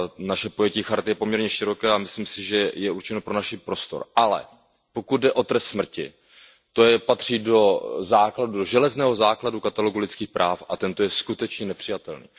Naše pojetí charty je poměrně široké a myslím si, že je určeno pro náš prostor, ale pokud jde o trest smrti to patří do železného základu katalogu lidských práv a tento je skutečně nepřijatelný.